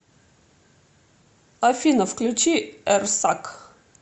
афина включи эрсак